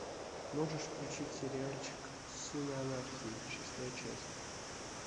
можешь включить сериальчик сыны анархии шестая часть